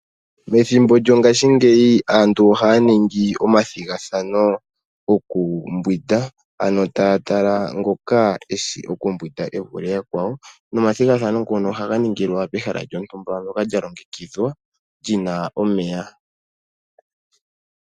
Methimbo lyongaashi ngeyi aantu ohaya ningi omathigathano goku mbwinda, ano taya tala ngoko eshi okumbwinda e vule yakwawo nomathigathano ngono ohaga ningilwa pehala lyontumba lya longekidhwa li na omeya.